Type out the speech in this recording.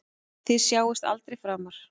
Þið sjáist aldrei framar.